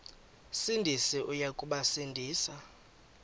sindisi uya kubasindisa